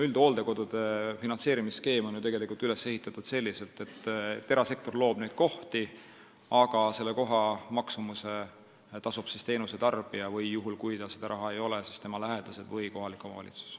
Üldhooldekodude finantseerimise skeem on üles ehitatud selliselt, et erasektor loob kohti, aga koha maksumuse eest tasub teenuse tarbija või kui tal raha ei ole, siis tasuvad tema lähedased või kohalik omavalitsus.